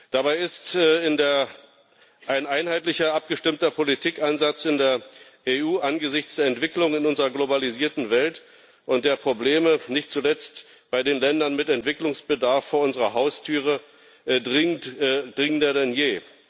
Dabei ist ein einheitlicher abgestimmter Politikansatz in der EU angesichts der Entwicklung in unserer globalisierten Welt und der Probleme, nicht zuletzt bei den Ländern mit Entwicklungsbedarf, vor unserer Haustüre dringender denn je.